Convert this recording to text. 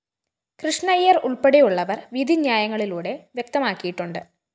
കൃഷ്ണയ്യരുള്‍പ്പെടെയുള്ളവര്‍ വിധി ന്യായങ്ങളിലൂടെ വ്യക്തമാക്കിയിട്ടുണ്ട്